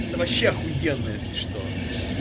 это вообще ахуенно если что